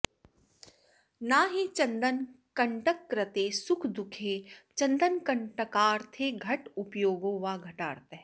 न हि चन्दनकण्टककृते सुखदुःखे चन्न्दनकण्टकार्थे घटोपयोगो वा घटार्थः